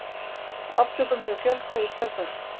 Aftökum hefur fjölgað í kjölfarið.